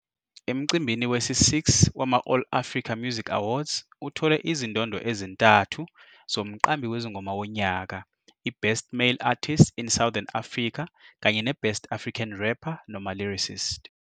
Emcimbini wesi-6 wama- All Africa Music Awards, uthole izindondo ezintathu zoMqambi Wezingoma Wonyaka, I-Best Male Artist in Southern Africa kanye ne-Best African Rapper - Lyricist.